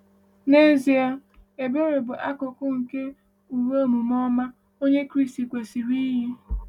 N’ezie, ebere bụ akụkụ nke uwe omume ọma Onye Kraịst kwesịrị iyi.